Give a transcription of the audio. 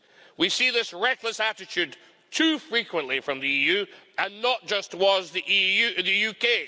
We see this reckless attitude too frequently from the EU, and not just with the UK.